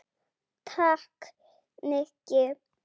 Takk, Nikki